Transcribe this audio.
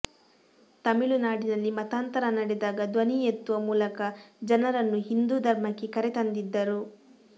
ತಮಿಳುನಾಡಿನಲ್ಲಿ ಮತಾಂತರ ನಡೆದಾಗ ಧ್ವನಿ ಎತ್ತುವ ಮೂಲಕ ಜನರನ್ನು ಹಿಂದೂ ಧರ್ಮಕ್ಕೆ ಕರೆತಂದಿದ್ದರು